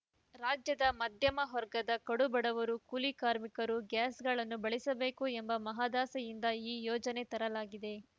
ರಾಜ್ಯದ ಮಧ್ಯಮ ವರ್ಗದ ಕಡು ಬಡವರು ಕೂಲಿಕಾರ್ಮಿಕರೂ ಗ್ಯಾಸ್‌ಗಳನ್ನು ಬಳಿಸಬೇಕು ಎಂಬ ಮಹದಾಸೆಯಿಂದ ಈ ಯೋಜನೆ ತರಲಾಗಿದೆ